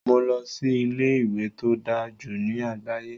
Mo lọ sí ilé-ìwé tó dáa jù ní àgbáyé,